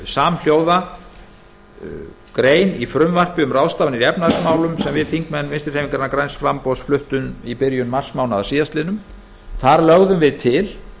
samhljóða grein í frumvarpi um ráðstafanir í efnahagsmálum sem við þingmenn vinstri hreyfingarinnar græns framboðs fluttum í byrjun marsmánaðar þar lögðum við til